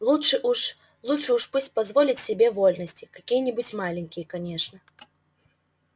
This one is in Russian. лучше уж лучше уж пусть позволит себе вольности какие-нибудь маленькие конечно